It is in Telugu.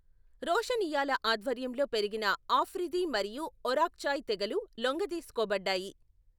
రోషనియ్యాల ఆధ్వర్యంలో పెరిగిన ఆఫ్రిది మరియు ఒరాక్జాయ్ తెగలు లొంగదీసుకోబడ్డాయి.